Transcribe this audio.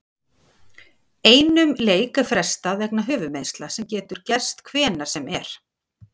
Einum leik er frestað vegna höfuðmeiðsla sem getur gerst hvenær sem er.